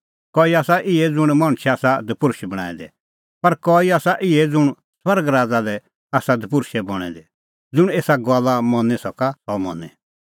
कई आसा हुऐ ज़ल्मां ओर्ही दपुर्षअ कई आसा इहै ज़ुंण मणछै आसा दपुर्षै बणांऐं दै पर कई आसा इहै ज़ुंण स्वर्ग राज़ा लै आसा दपुर्षै बणैं दै ज़ुंण एसा गल्ला मनी सका सह मनें